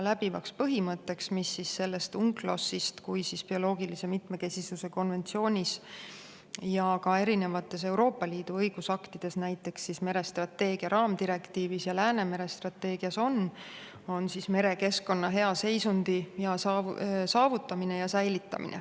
Läbivaks põhimõtteks, mis on nii selles UNCLOS-is kui ka bioloogilise mitmekesisuse konventsioonis ja ka erinevates Euroopa Liidu õigusaktides, näiteks merestrateegia raamdirektiivis ja Läänemere strateegias, on merekeskkonna hea seisundi saavutamine ja säilitamine.